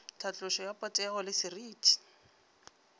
tlhatlošo ya potego le seriti